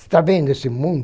Você tá vendo esse mundo?